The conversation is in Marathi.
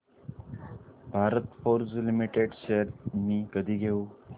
भारत फोर्ज लिमिटेड शेअर्स मी कधी घेऊ